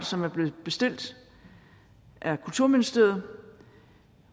som blev bestilt af kulturministeriet